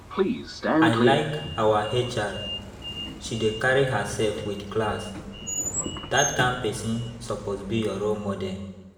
I like our HR, she dey carry herself with class. Dat kyn person suppose be your role model